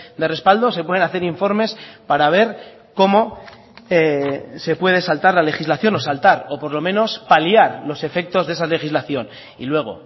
de respaldo se pueden hacer informes para ver cómo se puede saltar la legislación o saltar o por lo menos paliar los efectos de esa legislación y luego